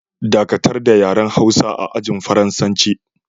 Dakatar da yaren Hausa a ajin Faransanci!